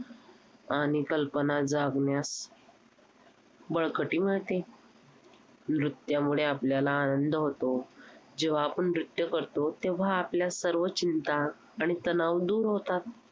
आणि कल्पना जागण्यास बळकटी मिळते. नृत्यामुळे आपल्याला आनंद होतो. जेव्हा आपण नृत्य करतो, तेव्हा आपल्या सर्व चिंता आणि तणाव दूर होतात.